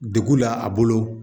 Degu la a bolo